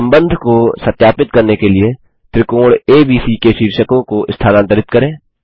संबंध को सत्यापित करने के लिए त्रिकोण एबीसी के शीर्षों को स्थानांतरित करें